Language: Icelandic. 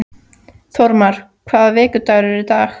Þórmar, hvaða vikudagur er í dag?